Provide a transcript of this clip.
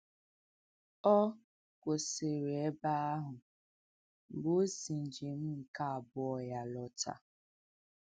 Ọ kwụsịrị ebe ahụ mgbe ọ̀ si njem nke abụọ ya lọ̀tá.